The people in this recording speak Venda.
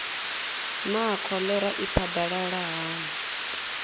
naa kholera i phadalala hani